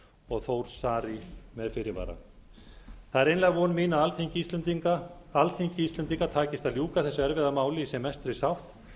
og þór saari með fyrirvara það er einlæg von mín að alþingi íslendinga takist að ljúka þessu erfiða máli í sem mestri sátt